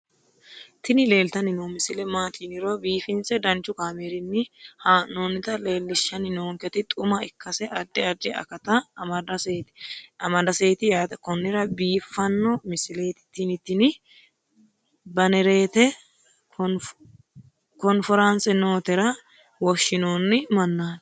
tini leeltanni noo misile maaati yiniro biifinse danchu kaamerinni haa'noonnita leellishshanni nonketi xuma ikkase addi addi akata amadaseeti yaate konnira biiffanno misileeti tini tini banerete konforanse nootera woshshinoonni mannaati